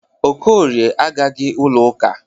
Okorie agaghị ụlọ ụka.